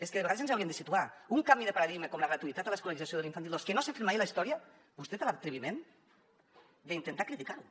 és que de vegades ens hauríem de situar un canvi de paradigma com la gratuïtat a l’escolarització de l’infantil dos que no s’ha fet mai a la història vostè té l’atreviment d’intentar criticar lo